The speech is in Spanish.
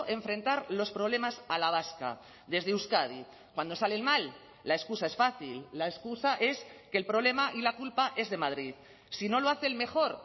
enfrentar los problemas a la vasca desde euskadi cuando salen mal la excusa es fácil la excusa es que el problema y la culpa es de madrid si no lo hacen mejor